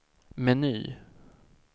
meny